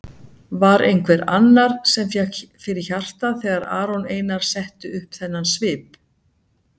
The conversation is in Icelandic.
Var einhver annar sem fékk fyrir hjartað þegar Aron Einar setti upp þennan svip?